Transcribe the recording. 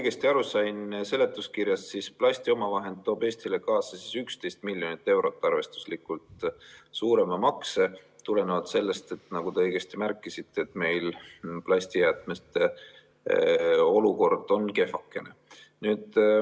Kui ma seletuskirjast õigesti aru sain, siis plastiomavahend toob Eestile kaasa arvestuslikult 11 miljonit eurot suurema makse, seda tulenevalt sellest, nagu te õigesti märkisite, et meil on plastijäätmetega olukord kehvakene.